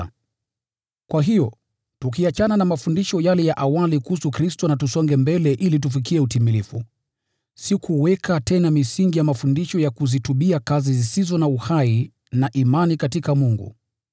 Kwa hiyo, tukiachana na mafundisho yale ya awali kuhusu Kristo na tukisonga mbele ili tufikie utimilifu, sio kuweka tena msingi wa mafundisho ya kuzitubia kazi zisizo na uhai na imani katika Mungu,